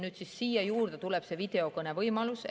Nüüd tuleb siia juurde see videokõnevõimalus.